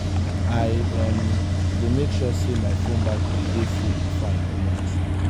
i um dey make sure sey my fone battery dey full before i comot.